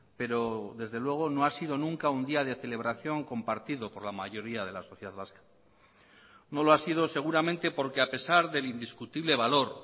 pero desde luego no ha sido nunca un día de celebración compartido por la mayoría de la sociedad vasca no lo ha sido seguramente porque a pesar del indiscutible valor